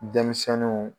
Denmisɛnninw